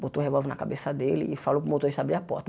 Botou o revólver na cabeça dele e falou para o motorista abrir a porta.